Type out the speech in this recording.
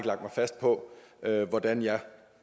fast på hvordan jeg